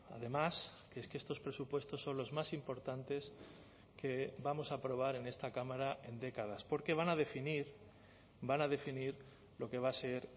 además que es que estos presupuestos son los más importantes que vamos a aprobar en esta cámara en décadas porque van a definir van a definir lo que va a ser